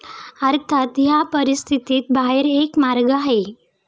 अर्थात, या परिस्थितीत बाहेर एक मार्ग आहे.